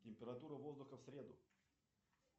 температура воздуха в среду